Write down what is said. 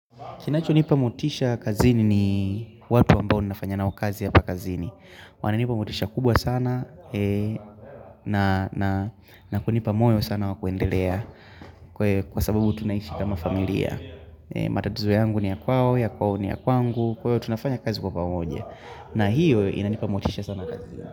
Kinacho nipa motisha kazini ni watu ambao ninafanya nao kazi hapa pakazini. Wananipa motisha kubwa sana na kunipa moyo sana wa kuendelea kwa sababu tunaishi kama familia. Matatizo yangu ni ya kwao, ya kwao ni ya kwangu, kwa hivo tunafanya kazi kwa pamoja. Na hiyo inanipa motisha sana kazini.